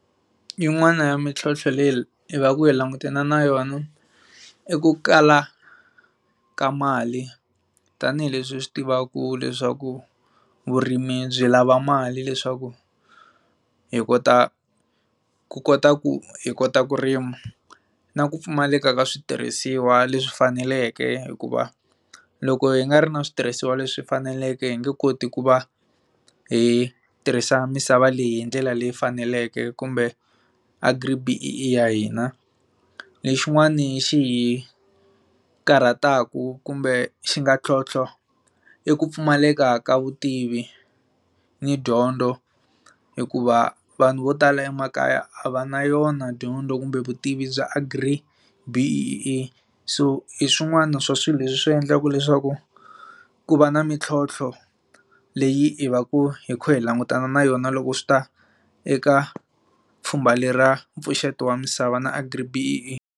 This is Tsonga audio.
Yin'wana ya mintlhotlho leyi i va ku langutana na yona i ku kala ka mali tanihileswi hu swi tivaka leswaku vurimi byi lava mali leswaku hi kota ku kota ku hi kota ku rima na ku pfumaleka ka switirhisiwa leswi faneleke hikuva loko hi nga ri na switirhisiwa leswi hi faneleke hi nge koti ku va hi tirhisa misava leyi hi ndlela leyi faneleke kumbe agri B_E_A ya hina lexin'wana xihi karhataku kumbe xi nga ntlhontlho i ku pfumaleka ka vutivi ni dyondzo hikuva vanhu vo tala emakaya a va na yona dyondzo kumbe vutivi bya agri B_e_a so hi swin'wana swa swilo leswi swi endlaka leswaku ku va na mintlhontlho leyi hi va ku hi kha hi langutana na yona loko swi ta eka pfhumba leri ra mpfuxeto wa misava na agri B_e_a.